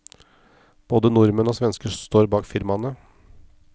Både nordmenn og svensker står bak firmaene.